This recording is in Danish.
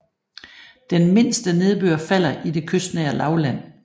Den mindste nedbør falder i det kystnære lavland